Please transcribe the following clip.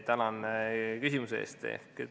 Tänan küsimuse eest!